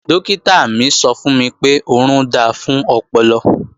Dọ́kítà mi sọ fún mi pé, orun da fún ọpọlọ